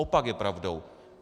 Opak je pravdou.